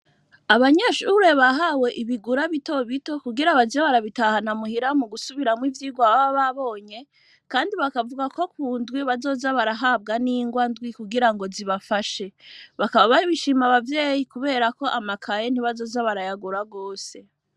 Abanyeshure, bahawe ibigura bito bito, kugira baze barabitahana muhira, mu gusubiramwo ivyigwa, baba babonye, kandi bakavuga ko, ku ndwi, bazoza barahabwa n'ingwa ndwi, kugira ngo, zibafashe; bakaba babishima abavyeyi, kubera ko, amakaye ntibazoza, barayagura gwose.